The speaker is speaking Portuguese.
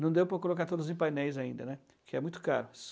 Não deu para colocar todos em painéis ainda, né, que é muito caro.